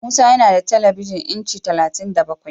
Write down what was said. Musa yana da telebijin inci talatin da bakwai.